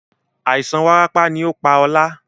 Àìsàn warapa ni ó pá ọ̀la.